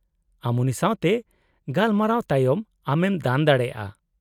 -ᱟᱢ ᱩᱱᱤ ᱥᱟᱶᱛᱮ ᱜᱟᱞᱢᱟᱨᱟᱣ ᱛᱟᱭᱚᱢ ᱟᱢᱮᱢ ᱫᱟᱱ ᱫᱟᱲᱮᱭᱟᱜᱼᱟ ᱾